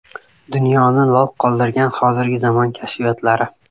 Dunyoni lol qoldirgan hozirgi zamon kashfiyotlari.